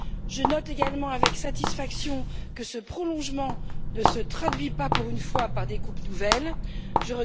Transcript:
Je note également, avec satisfaction, que ce prolongement ne se traduit pas, pour une fois, par de nouvelles coupes.